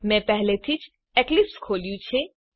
મેં પહેલેથી જ એક્લિપ્સ ખોલ્યું છે